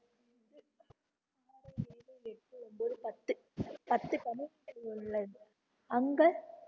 பத்து கதவு உள்ளது அங்க